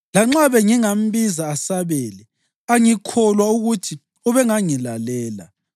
Lanxa bengingambiza asabele, angikholwa ukuthi ubengangilalela.